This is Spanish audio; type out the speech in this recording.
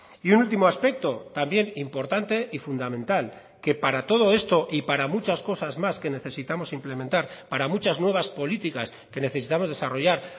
y un último aspecto también importante y fundamental que para todo esto y para muchas cosas más que necesitamos implementar para muchas nuevas políticas que necesitamos desarrollar